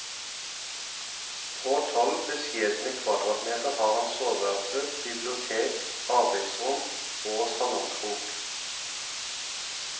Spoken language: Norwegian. På tolv beskjedne kvadratmeter har han soveværelse, bibliotek, arbeidsrom og salongkrok.